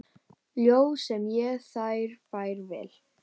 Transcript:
Ljóð sem ég þér færa vil.